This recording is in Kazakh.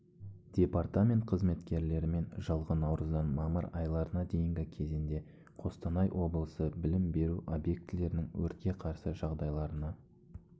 департамент қызметкерлерімен жылғы наурыздан мамыр айларына дейінгі кезінде қостанай облысы білім беру объектілерінің өртке қарсы жағдайларына